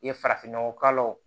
I ye farafinnɔgɔ kala o